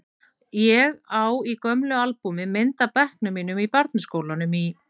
Ég á í gömlu albúmi mynd af bekknum mínum í barnaskólanum í